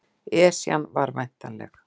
Esjan var væntanleg